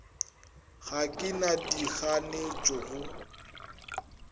ga ke na dikganetšo go